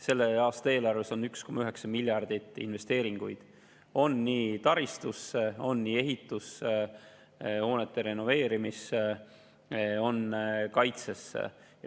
] aasta eelarves on 1,9 miljardit investeeringuid – on nii taristusse, ehitusse kui ka hoonete renoveerimisse ja kaitsesse.